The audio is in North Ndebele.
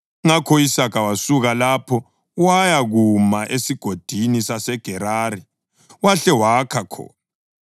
Ngakho u-Isaka wasuka lapho wayakuma eSigodini saseGerari, wahle wakha khona.